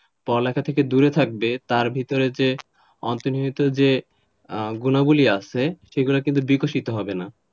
পড়া লেখা থেকে দূরে থাকবে তার ভেতরে যে অন্তর্নিহিত যে গুণাবলী আছে সেগুলো কিন্তু বিকাশিত হবে না,